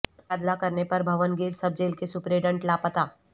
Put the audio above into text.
تبادلہ کرنے پر بھونگیر سب جیل کے سپرنٹنڈنٹ لاپتہ